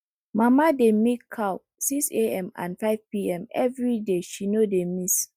mama dey milk cow six am and five pm every day she no dey miss